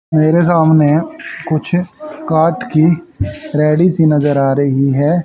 मेरे सामने कुछ काट की रेहड़ी सी नजर आ रही है।